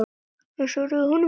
Örn svaraði honum ekki.